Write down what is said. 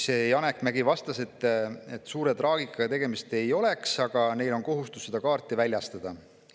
Janek Mägi vastas, et suure traagikaga tegemist ei oleks, aga neil on kohustus seda kaarti väljastada.